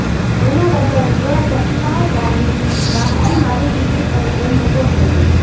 એના હ્રદયે થોડા ધબકારાની ગાપચી મારી દીધી અને એ મૂગો થઈ ગયો